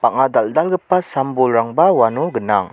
bang·a dal·dalgipa sam-bolrangba uano gnang.